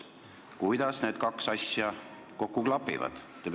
Kuidas need kaks asja kokku klapivad?